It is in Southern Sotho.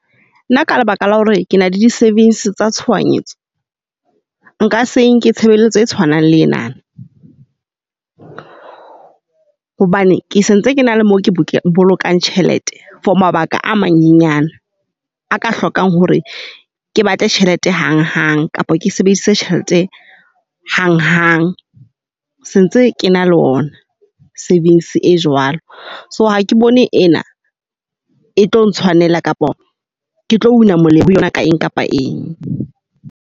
Nna ka lebaka la hore ke na le di-savings tsa tshohanyetso, nka se nke tshebeletso e tshwanang le ena. Hobane ke sentse ke na le mo bolokang tjhelete for mabaka a manyenyane a ka hlokang hore ke batle tjhelete hang hang, kapa ke sebedise tjhelete hang hang. Sentse ke na le ona savings e jwalo. So ha ke bone ena e tlo ntshwanela kapa ke tlo una molemo yona ka eng kapa eng.